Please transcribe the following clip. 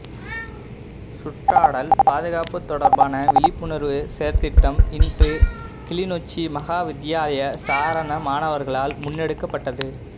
சுற்றாடல் பாதுகாப்பு தொடர்பான விழிப்புணர்வு செயற்திட்டம் இன்று கிளிநொச்சி மகாவித்தியாலய சாரணமாணவர்களால் முன்னெடுக்கப்பட்டது